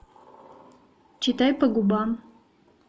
читай по губам